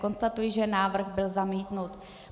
Konstatuji, že návrh byl zamítnut.